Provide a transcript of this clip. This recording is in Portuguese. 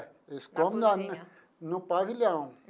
Eles come na na no pavilhão.